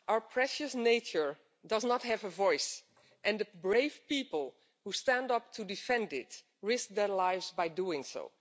Mr President, our precious nature does not have a voice, and the brave people who stand up to defend it risk their lives by doing so.